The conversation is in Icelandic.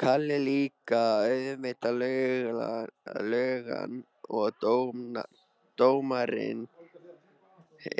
Kalli líka, og auðvitað löggan og dómararnir,